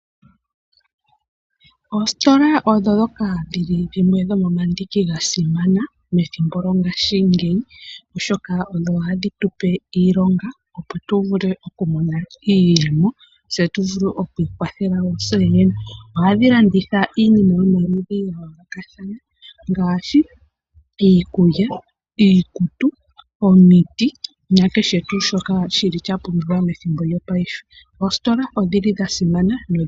Oositola odho ndhoka dhili omandiki gasimana methimbo lyongashingeyi oshoka odho hadhi tupe iilonga po tu vule oku mona iiyemo setu vule okwiikwathela tseyene, ohadhi landitha iinima yomaludhi ga yooloka thana ngaashi iikulya, iikutu, omiti nakeshe tuu shoka shili shapumbiwa methimbo lyo paife oositola oshili dhasimana.